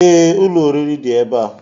Ee, ụlọ oriri dị ebe a